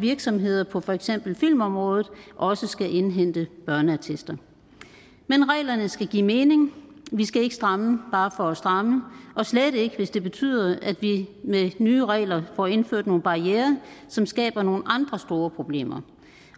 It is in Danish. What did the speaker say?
virksomheder på for eksempel filmområdet også skal indhente børneattester men reglerne skal give mening vi skal ikke stramme bare for at stramme og slet ikke hvis det betyder at vi med nye regler får indført nogle barrierer som skaber nogle andre store problemer